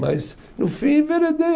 Mas, no fim, enveredei.